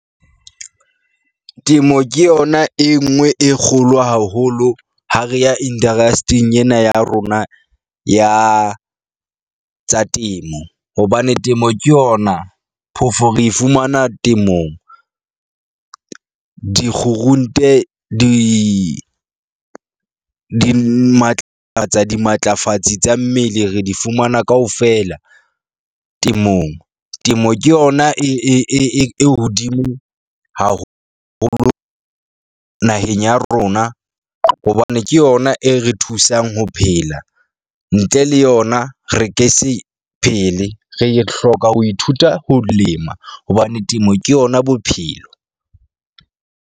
Temo ke yona e nngwe e kgolo haholo ha re ya indarasting ena ya rona ya tsa temo, hobane temo ke yona phofo re fumana temong. Dikgurunte di di matlafatsa dimatlafatsi tsa mmele, re di fumana kaofela temong. Temo ke yona e e e e hodimo haholo naheng ya rona, hobane ke yona e re thusang ho phela. Ntle le yona re ke se phele. Re hloka ho ithuta ho lema hobane temo ke yona bophelo.